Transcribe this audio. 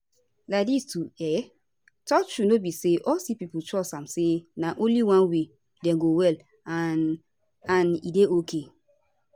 laidis to um talk truth no be all sick pipo trust am say na only one way dem go well and and e dey ok